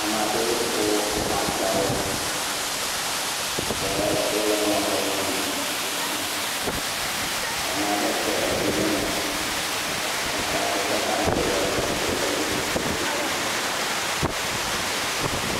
Ame aɖewo ko woƒe agbawo. Wole mɔzɔzɔ aɖe me. Nyɔnua ɖe kpe evi me eye wokɔ eƒe bagiwo kɔ ɖa ɖe gakpo ɖe dzi he tutm.